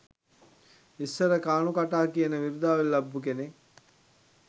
ඉස්සර කානු කටා කියන විරුදාවලි ලබපු කෙනත්